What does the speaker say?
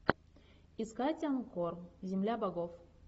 искать анкор земля богов